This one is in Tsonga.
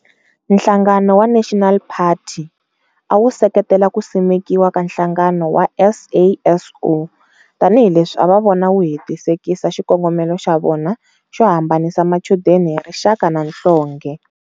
Nhlangano wa National Party, awu seketela kusimekiwa ka nhlangano wa SASO, tani hileswi ava vona wu hetisekisa xikongomelo xa vona xo hambanisa machudeni hi rixaka na nhlonge.